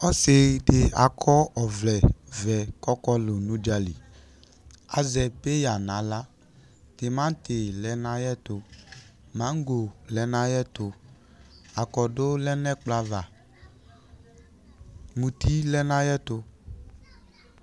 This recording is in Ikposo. Ɔsɩ dɩ akɔ ɔvlɛ ɔvɛ kʋ ɔkɔlʋ nʋ udzǝli Azɛ peyǝ nʋ aɣla Tɩmatɩ lɛ nʋ ayʋ ɛtʋ Maŋgo lɛ nʋ ayʋ ɛtʋ Akɔdʋ lɛ nʋ ɛkplɔ ava Muti lɛ nʋ ayʋ ɛtʋ